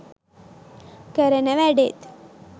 කරන වැඩෙත්.